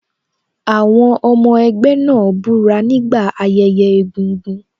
Àwọn ọmọ ẹgbẹ́ náà búra nígbà ayẹyẹ egúngún.